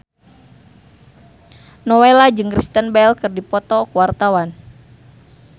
Nowela jeung Kristen Bell keur dipoto ku wartawan